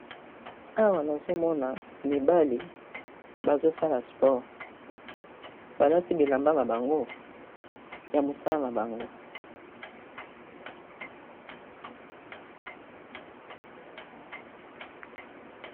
awa nazomona mibale bazosala sport balati bilamba na bango ya mosala na bango